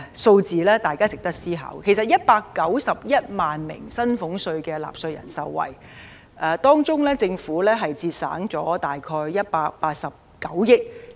措施將惠及191萬名薪俸稅納稅人，政府的收入則會減少約189億元。